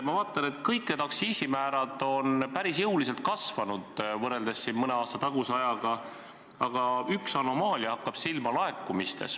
Ma vaatan, et kõik need aktsiisimäärad on päris jõuliselt kasvanud võrreldes mõne aasta taguse ajaga, aga laekumistes hakkab silma üks anomaalia.